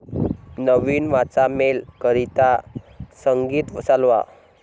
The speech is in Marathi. नवीन वाचा मेल करीता संगीत चालवा